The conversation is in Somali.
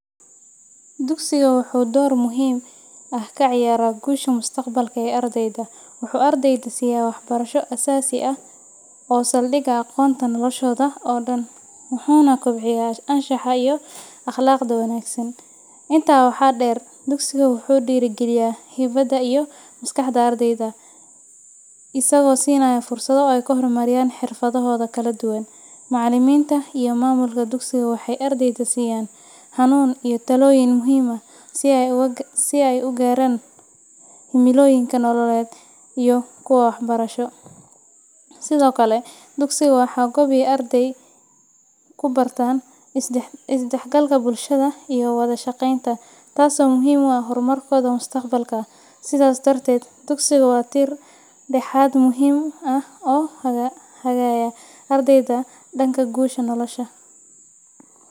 Dugsigu wuxuu door muhiim ah ka ciyaaraa guusha mustaqbalka ee ardayda. Wuxuu ardayda siiya waxbarasho aasaasi ah oo ah saldhigga aqoonta noloshooda oo dhan, wuxuuna kobciyaa anshaxa iyo akhlaaqda wanaagsan. Intaa waxaa dheer, dugsigu wuxuu dhiirrigeliyaa hibada iyo maskaxda ardayda isagoo siinaya fursado ay ku horumariyaan xirfadahooda kala duwan. Macallimiinta iyo maamulka dugsiga waxay ardayda siiyaan hanuun iyo talooyin muhiim ah si ay u gaaraan himilooyinkooda nololeed iyo kuwa waxbarasho. Sidoo kale, dugsigu waa goob ay ardaydu ku bartaan is-dhexgalka bulsho iyo wada-shaqeynta, taasoo muhiim u ah horumarkooda mustaqbalka. Sidaas darteed, dugsigu waa tiir-dhexaad muhiim ah oo hagaya ardayga dhanka guusha nolosha.